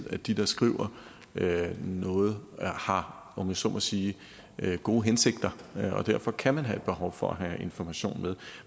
at de der skriver noget har om jeg så må sige gode hensigter og derfor kan man have et behov for at have information med